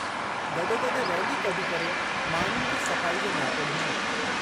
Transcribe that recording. गॾोगॾु रैली कढी करे माण्हुनि खे सफ़ाई जो नियापो ॾिनो।